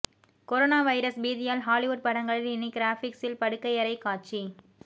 corona virus பீதியால் Hollywood படங்களில் இனி கிராபிக்சில் படுக்கையறை காட்சி